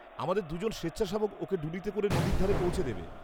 -আমাদের দুজন স্বেচ্ছাসেবক ওঁকে ডুলিতে করে নদীর ধারে পৌঁছে দেবে।